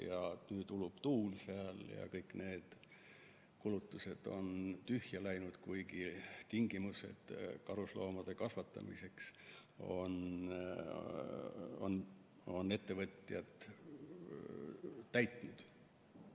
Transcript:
Aga nüüd ulub tuul seal ja kõik need kulutused on tühja läinud, kuigi tingimused karusloomade kasvatamiseks on ettevõtjad täitnud.